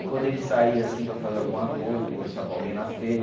E quando ele saía assim para fazer alguma coisa, conversar com alguém na feira,